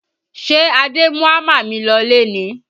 Ṣé Adé mú hámà mi lọlé ni?